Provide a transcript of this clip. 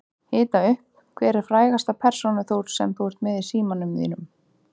Hita upp Hver er frægasta persónan sem þú ert með í farsímanum þínum?